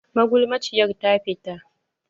Magulmaciyar ta fita.